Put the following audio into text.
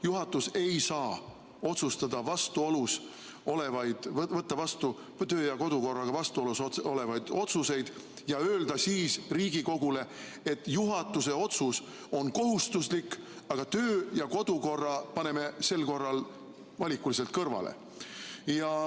Juhatus ei saa otsustada ega võtta vastu töö- ja kodukorraga vastuolus olevaid otsuseid ja öelda siis Riigikogule, et juhatuse otsus on kohustuslik, aga töö- ja kodukorra paneme sel korral valikuliselt kõrvale.